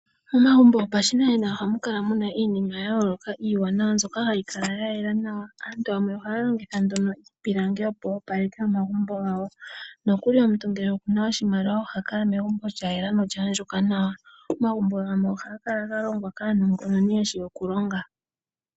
Momagumbo gopashi nanena ohamu kala muna iinima ya yooloka iiwanawa mbyoka hayi kala ya yela nawa aantu yamwe ohaya longitha iipilangi opo yo opaleke omagumbo gawo, omuntu ngele okuna oshimaliwa oha kala megumbo lya yela nola andjuka nawa. Omagumbo gamwe ohaga kala ga longwa kaanongononi yeshi okulonga.